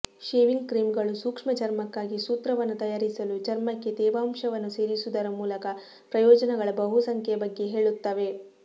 shaving ಕ್ರೀಮ್ಗಳು ಸೂಕ್ಷ್ಮ ಚರ್ಮಕ್ಕಾಗಿ ಸೂತ್ರವನ್ನು ತಯಾರಿಸಲು ಚರ್ಮಕ್ಕೆ ತೇವಾಂಶವನ್ನು ಸೇರಿಸುವುದರ ಮೂಲಕ ಪ್ರಯೋಜನಗಳ ಬಹುಸಂಖ್ಯೆಯ ಬಗ್ಗೆ ಹೇಳುತ್ತವೆ